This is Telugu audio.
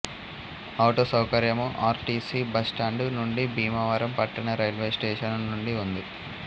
ఆటో సౌకర్యము ఆర్ టి సి బస్టాండు నుండి భీమవరం పట్టణ రైల్వే స్టేషను నుండి ఉంది